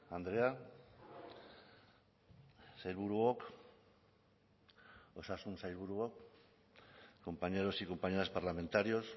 andrea sailburuok osasun sailburuok compañeros y compañeras parlamentarios